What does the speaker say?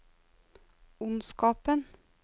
ondskapen